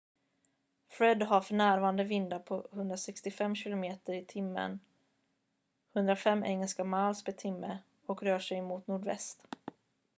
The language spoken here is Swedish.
fred har för närvarande vindar på 165 km/h 105 engelska miles per timme och rör sig mot nordväst